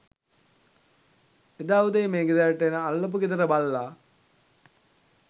එදා උදේ මේ ගෙදරට එන අල්ලපු ගෙදර බල්ලා